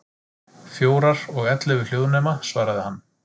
Fjórar, og ellefu hljóðnema, svaraði hann.